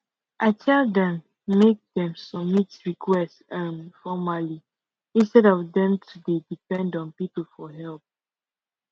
i tell dem make dem submit request um formerly instead of dem to dey depend on people for help